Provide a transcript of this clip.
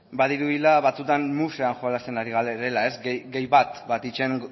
badirudiela batzuetan musean jolasten ari garela gehi bat batitzen